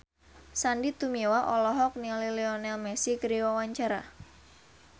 Sandy Tumiwa olohok ningali Lionel Messi keur diwawancara